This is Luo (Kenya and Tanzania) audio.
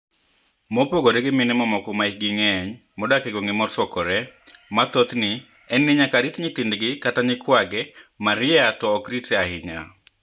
Mopogore gi mini e mamoko ma hikgi nig'eniy modak e gwenige mosokore, ma thothni e niyaka rit niyithinidgi kata niyikwagi, Maria to ok ritre ahiniya.